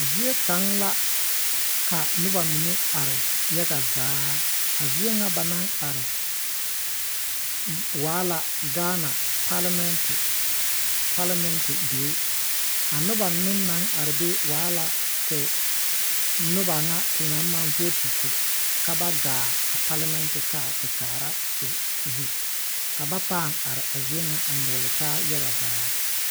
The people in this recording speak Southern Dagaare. Zie kaŋ la ka noba mine are waa yaga zaa. A zienyɛ ba naŋ waala Gaana paalamɛŋte die. A noba naŋ are waala noba te na maŋ voote ka ba gaa paalameŋte a te kaara te zu. Ba arɛɛ la a nyogle taa yaga lɛ.